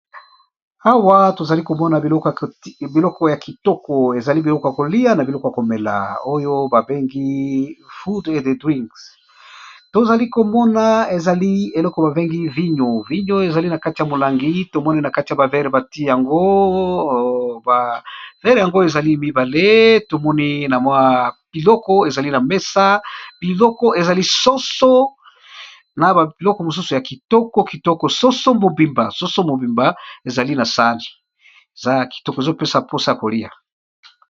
Awa tozali komona biloko ya kitoko ezali biloko ya kolia na biloko ya komela, oyo babengi food and drinks tozali komona ezali eloko babengi vinyo, vinyo ezali na kati ya molangi tomoni na kati ya ba verre bati yango, ba verre yango ezali mibale, tomoni biloko ezali na mesa biloko ezali soso na biloko mosusu ya kitoko kitoko soso mobimba, soso mobimba ezali na sani a kitoko ezopesa mposa ya koliya.